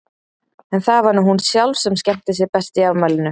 En það var nú hún sjálf sem skemmti sér best í afmælinu.